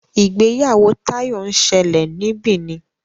ìgbéyàwó Tayo nsele ní Benin.